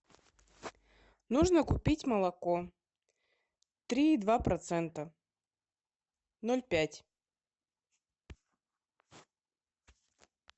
нужно купить молоко три и два процента ноль пять